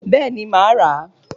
Bẹ́ẹ̀ni, màá rà á